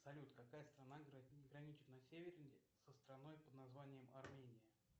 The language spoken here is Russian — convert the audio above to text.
салют какая страна граничит на севере со страной под названием армения